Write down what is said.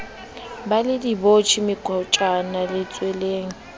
ba le dibotjhe mekotjana letsweleng